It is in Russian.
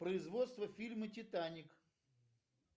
производство фильма титаник